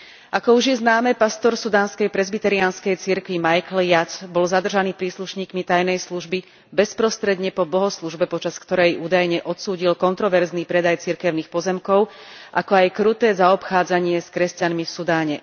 Ako už je známe, pastor sudánskej presbyteriánskej cirkvi Michael Yat bol zadržaný príslušníkmi tajnej služby bezprostredne po bohoslužbe, počas ktorej údajne odsúdil kontroverzný predaj cirkevných pozemkov, ako aj kruté zaobchádzanie s kresťanmi v Sudáne.